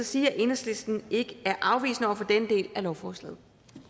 sige at enhedslisten ikke er afvisende over for denne del af lovforslaget